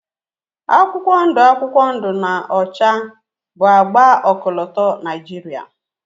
akwụkwọ ndụ akwụkwọ ndụ na ọcha bụ agba ọkọlọtọ Niajiria